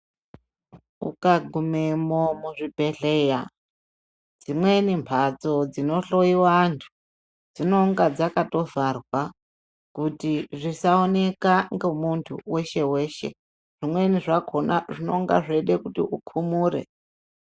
Uka gume mo muzvi bhedhleya dzimweni mbatso dzino hloyiwa antu dzinonga dzaka tovharwa kuti zvisaoneka ngemuntu weshe weshe zvimweni zvakhona zvinenge zveida kuti ukumure.